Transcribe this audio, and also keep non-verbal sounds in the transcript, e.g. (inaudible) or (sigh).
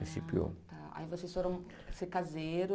(unintelligible) Aí vocês foram ser caseiros?